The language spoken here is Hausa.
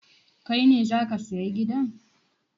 Kai ne za ka saya gidan?